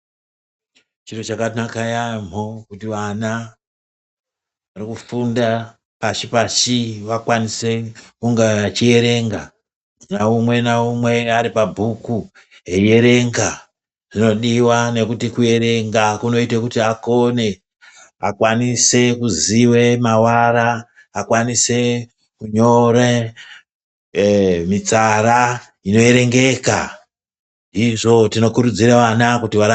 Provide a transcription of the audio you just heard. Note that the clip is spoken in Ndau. Chiro chakanaka yamho kuti vana varikufunda pashi pashi vakwanise kunga vachierenga naumwe naumwe aripabhuku eierenga zvinodiwa ngekuti kuerenga kunoite kuti akone , akwanise kuziwe mawara , akwanise kunyore mitsara inoerengeka izvo tinokurudzire vana kuti varambe.